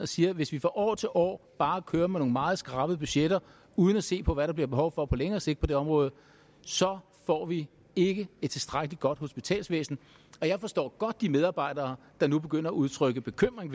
siger hvis vi fra år til år bare kører med nogle meget skrabede budgetter uden at se på hvad der bliver behov for på længere sigt på det område så får vi ikke et tilstrækkelig godt hospitalsvæsen og jeg forstår godt de medarbejdere der nu begynder at udtrykke bekymring